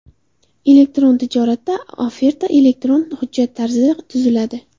Elektron tijoratda oferta elektron hujjat tarzida tuziladi.